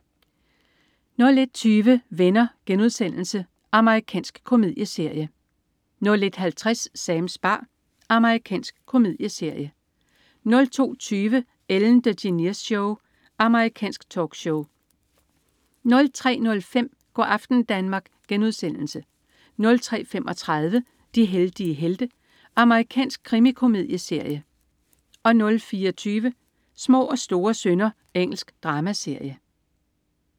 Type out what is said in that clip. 01.20 Venner.* Amerikansk komedieserie 01.50 Sams bar. Amerikansk komedieserie 02.20 Ellen DeGeneres Show. Amerikansk talkshow 03.05 Go' aften Danmark* 03.35 De heldige helte. Amerikansk krimikomedieserie 04.20 Små og store synder. Engelsk dramaserie